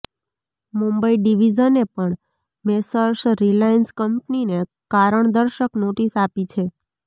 મુંબઇ ડિવિઝને પણ મેસર્સ રિલાયન્સ કંપનીને કારણદર્શક નોટિસ આપી છે